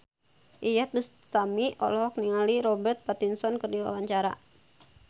Iyeth Bustami olohok ningali Robert Pattinson keur diwawancara